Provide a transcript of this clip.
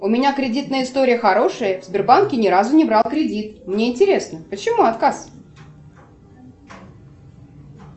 у меня кредитная история хорошая в сбербанке ни разу не брала кредит мне интересно почему отказ